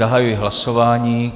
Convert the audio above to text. Zahajuji hlasování.